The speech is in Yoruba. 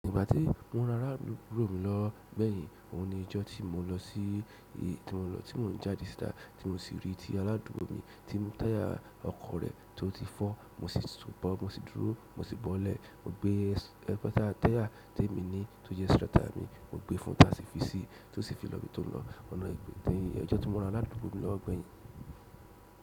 Ìgbà tí mo ran aládùúgbò mi lọ́wo gbẹ̀yìn, òun ni ijó tí mo lọ sí i, tí mo lọ, tí mò n jáde síta tí mo sì rí i ti aládùúgbò mi tí táyà ọkọ̀ rẹ̀ tó ti fọ́, mo sì tún bọ́, mo sì dúró, mo sì bọ́lẹ̀. Mo gbé ẹkọ́ táyà tí èmi ní tó jẹ́ spare tire mi, mo gbé e fún táṣíìfìsì tó sì fi lo ibi tó n lọ. Ọ̀nà ìgbè téyìn ọjọ́ tí mo ra aládùúgbò mi lọ́gbẹ̀yìn.